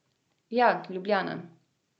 Ja, Ljubljana.